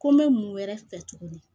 Ko n bɛ mun wɛrɛ fɛ tuguni